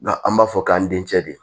Nka an b'a fɔ k'an den cɛ de